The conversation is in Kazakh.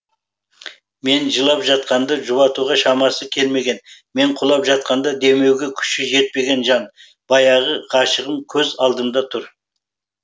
мен жылап жатқанда жұбатуға шамасы келмеген мен құлап жатқанда демеуге күші жетпеген жан баяғы ғашығым көз алдымда тұр